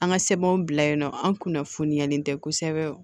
An ka sɛbɛnw bila yen nɔ an kunnafoniyalen tɛ kosɛbɛ